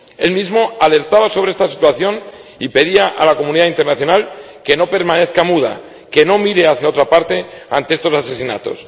Él mismo alertaba sobre esta situación y pedía a la comunidad internacional que no permanezca muda, que no mire hacia otra parte ante estos asesinatos.